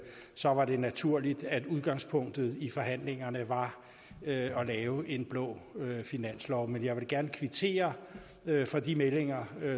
så var det naturligt at udgangspunktet i forhandlingerne var at lave en blå finanslov men jeg vil da gerne kvittere for de meldinger